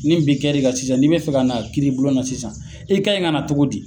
Ni bin kɛri kna sisan n'i be fɛ ka n'a kiiri bulon na sisan, i kaɲi ka na cogo di?